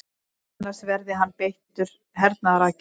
Annars verði hann beittur hernaðaraðgerðum